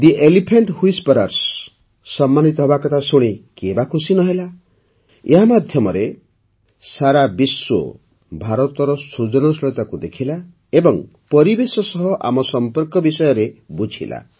ଦି elephant whisperers ସମ୍ମାନିତ ହେବାକଥା ଶୁଣି କିଏ ବା ଖୁସି ନ ହେଲା ଏହା ମାଧ୍ୟମରେ ସାରା ବିଶ୍ୱ ଭାରତର ସୃଜନଶୀଳତାକୁ ଦେଖିଲା ଏବଂ ପରିବେଶ ସହ ଆମ ସମ୍ପର୍କ ବିଷୟରେ ବୁଝିଲା